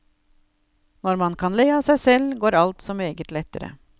Når man kan le av seg selv, går alt så meget lettere.